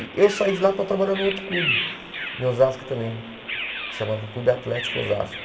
E eu saí de lá para trabalhar no outro clube, em Osasco também, que se chamava Clube Atlético Osasco.